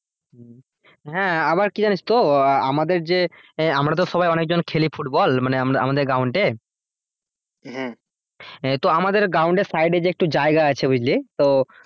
হ্যাঁ আবার কি জানিস তো আহ আমাদের যে হ্যাঁ আমরা তো সবাই অনেকজন খেলি ফুটবল মানে আমরা আমাদের ground এ? তো আমাদের ground এর side এ যে একটু জায়গা সে বুঝলি তো